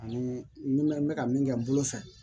Ani bɛ n bɛ ka min kɛ n bolo fɛ